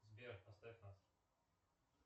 сбер оставь нас